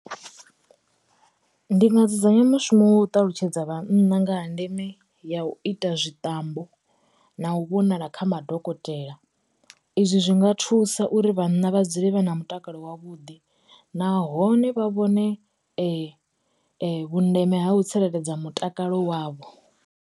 Ndi nga dzudzanya mushumo wo ṱalutshedza vhanna nga ha ndeme ya u ita zwi ṱambo na u vhonala kha madokotela. Izwi zwinga thusa uri vhanna vha dzule vha na mutakalo wavhuḓi, nahone vha vhone vhu ndeme ha u tsireledza mutakalo wavho.